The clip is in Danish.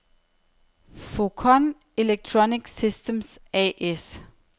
Focon Electronic Systems A/S